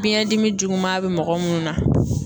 Biyɛn dimi juguman be mɔgɔ munnu na